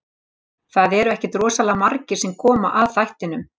Það eru ekkert rosalega margir sem koma að þættinum.